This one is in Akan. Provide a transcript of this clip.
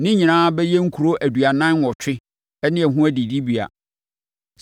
Ne nyinaa bɛyɛ nkuro aduanan nwɔtwe ne ho adidibea.